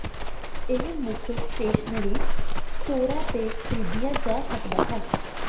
ਇਹ ਮੁੱਖ ਸਟੇਸ਼ਨਰੀ ਸਟੋਰਾਂ ਤੇ ਖਰੀਦਿਆ ਜਾ ਸਕਦਾ ਹੈ